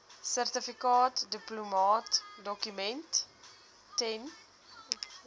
sertifikaat duplikaatdokument ten